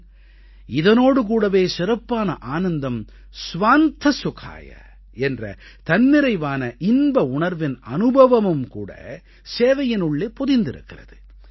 ஆனால் இதனோடு கூடவே சிறப்பான ஆனந்தம் ஸ்வாந்த சுகாய என்ற தன்னிறைவான இன்பஉணர்வின் அனுபவமும் கூட சேவையினுள்ளே பொதிந்திருக்கிறது